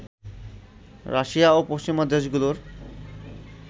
Russia ও পশ্চিমা দেশগুলোর